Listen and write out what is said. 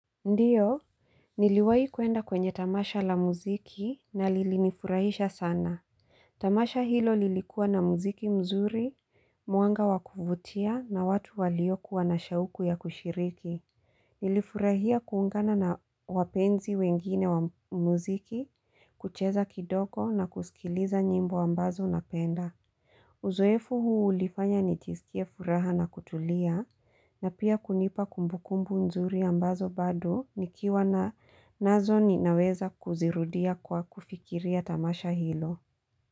Ndiyo Niliwahi kuenda kwenye tamasha la muziki na lilinifurahisha sana Tamasha hilo lilikuwa na muziki mzuri mwanga wakuvutia na watu waliokuwa na shauku ya kushiriki Nilifurahia kuungana na wapenzi wengine wa muziki kucheza kidogo na kusikiliza nyimbo ambazo napenda Uzoefu huu ulifanya nisikia furaha na kutulia na pia kunipa kumbukumbu nzuri ambazo bado nikiwa nazo ninaweza kuzirudia kwa kufikiria tamasha hilo.